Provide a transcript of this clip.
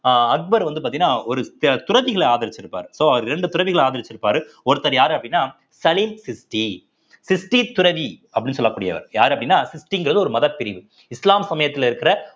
அஹ் அக்பர் வந்து பார்த்தீங்கன்னா ஒரு த~ துறதிகளை ஆதரிச்சிருப்பார் so அவர் இரண்டு பிறவிகளை ஆதரிச்சிருப்பாரு ஒருத்தர் யாரு அப்படின்னா சலீம் சிஷ்டி ~சிஷ்டி துறவி அப்படின்னு சொல்லக்கூடியவர் யாரு அப்படின்னா சிஷ்டிங்கிறது ஒரு மத பிரிவு இஸ்லாம் சமயத்துல இருக்கிற